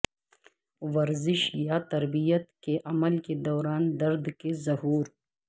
ورزش یا تربیت کے عمل کے دوران درد کے ظہور